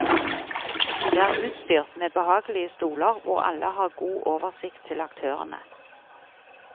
Det er utstyrt med behagelige stoler hvor alle har god oversikt til aktørene.